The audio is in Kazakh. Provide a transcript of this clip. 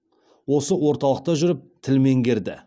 осы орталықта жүріп тіл меңгерді